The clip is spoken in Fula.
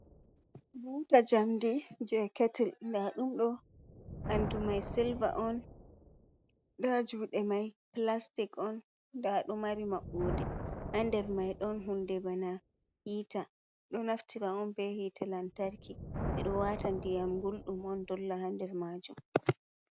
Buta jamdi je ketil nda ɗum ɗo ɓandu mai silva on, nda juuɗe mai plastic on, ndaɗo mari maɓɓode ha. nder mai, ɗon hunde bana hiita ɗo naftira on be hite lantarki ɓe ɗo wata diyam gulɗum on dolla hander majuum.